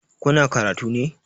Kuna karatu ne?